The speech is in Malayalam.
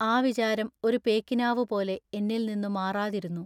ആ വിചാരം ഒരു പേക്കിനാവു പോലെ എന്നിൽനിന്നു മാറാതിരുന്നു.